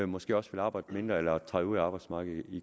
måske også vil arbejde mindre eller træde ud af arbejdsmarkedet i